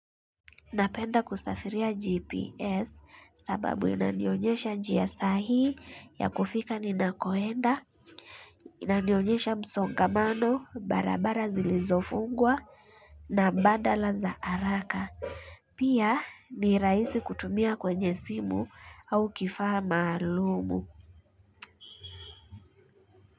Napenda kusafiria GPS sababu inanionyesha njia sahii ya kufika ninakoenda, inanionyesha msongamano, barabara zilizofungwa na badala za haraka. Pia ni rahisi kutumia kwenye simu au kifaha mahalumu.